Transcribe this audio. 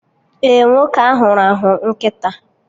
Ee, nwoke ahụ rahụ nkịta